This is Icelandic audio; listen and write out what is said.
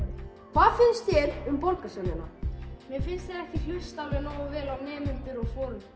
hvað finnst þér um borgarstjórnina mér finnst þau ekki hlusta alveg nógu vel á nemendur og